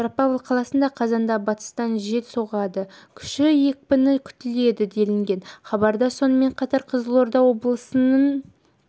петропавл қаласында қазанда батыстан жел соғады күші екпіні күтіледі делінген хабарда сонымен қатар қызылорда облысының кей